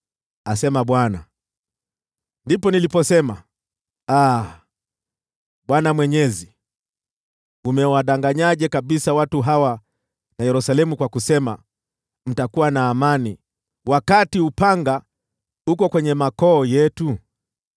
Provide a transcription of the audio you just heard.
Ndipo niliposema, “Aa, Bwana Mwenyezi, umewadanganyaje kabisa watu hawa na Yerusalemu kwa kusema, ‘Mtakuwa na amani,’ wakati upanga uko kwenye koo zetu!”